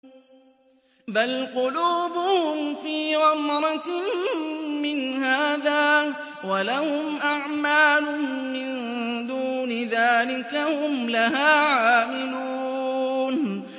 بَلْ قُلُوبُهُمْ فِي غَمْرَةٍ مِّنْ هَٰذَا وَلَهُمْ أَعْمَالٌ مِّن دُونِ ذَٰلِكَ هُمْ لَهَا عَامِلُونَ